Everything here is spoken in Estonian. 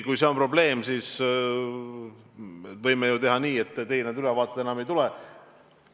Kui see on probleem, siis võime teha ju nii, et teile neid ülevaateid enam ei tule.